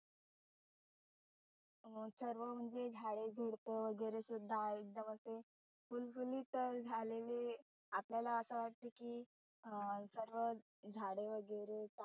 सर्व म्हणजे झाडे झुडप वगैरे सुद्धा एकदम ते फुलफुलीत झालेले आपल्याला असं वाटतं की अं सर्व झाडे वगैरे